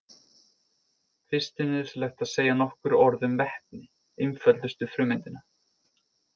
Fyrst er nauðsynlegt að segja nokkur orð um vetni, einföldustu frumeindina.